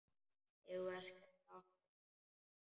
Eigum við að skella okkur?